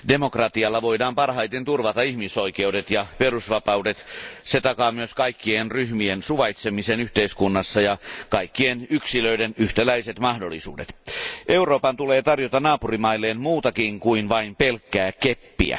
Arvoisa puhemies, tuin De Keyserin mietintöä. Demokratialla voidaan parhaiten turvata ihmisoikeudet ja perusvapaudet, se takaa myös kaikkien ryhmien suvaitsemisen yhteiskunnassa ja kaikkien yksilöiden yhtäläiset mahdollisuudet. Euroopan tulee tarjota naapurimailleen muutakin kuin vain pelkkää keppiä.